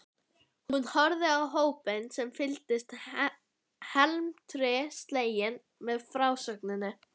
Hún horfði á hópinn sem fylgdist felmtri sleginn með frásögninni.